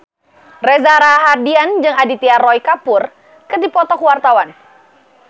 Reza Rahardian jeung Aditya Roy Kapoor keur dipoto ku wartawan